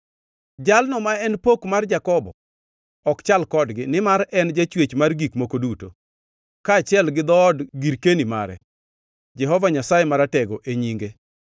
Jalno ma en Pok mar Jakobo ok chal kodgi, nimar en e Jachwech mar gik moko duto, kaachiel gi dhood girkeni mare, Jehova Nyasaye Maratego e nyinge.